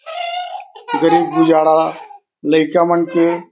गरीब गुजरा लईका मन के--